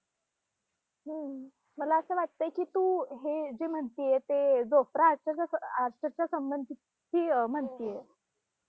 हम्म मला असं वाटतंय की तू, हे जे म्हणतेय ते जोप्रह~ आर्चर~ आर्चरच्या संबंधित म्हणतेय